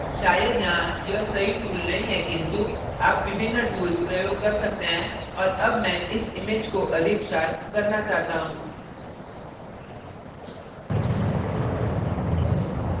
शायद यहाँ यह सही tool नहीं है किन्तु आप विभिन्न tools प्रयोग कर सकते हैं और अब मैं इस image को अधिक sharpen करना चाहता हूँ